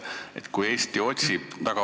Hea juhataja ja kaitseminister!